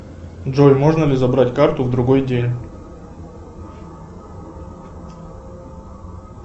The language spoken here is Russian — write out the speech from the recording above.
джой можно ли забрать карту в другой день